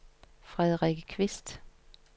Frederikke Kvist